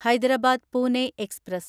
Hyderabad Pune express